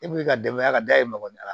E b'i ka denbaya ka da i magɔ la